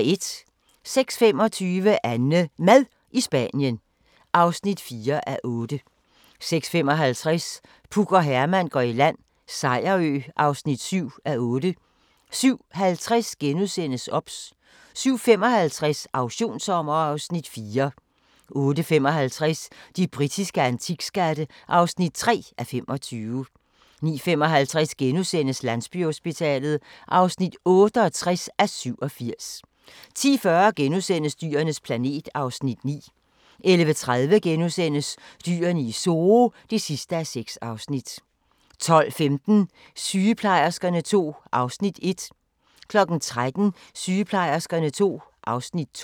06:25: AnneMad i Spanien (4:8) 06:55: Puk og Herman går i land - Sejerø (7:8) 07:50: OBS * 07:55: Auktionssommer (Afs. 4) 08:55: De britiske antikskatte (3:25) 09:55: Landsbyhospitalet (68:87)* 10:40: Dyrenes planet (Afs. 9)* 11:30: Dyrene i Zoo (6:6)* 12:15: Sygeplejerskerne II (Afs. 1) 13:00: Sygeplejerskerne II (Afs. 2)